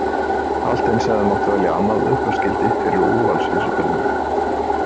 Allt eins hefði mátt velja annað upphafsgildi fyrir Úrvalsvísitöluna.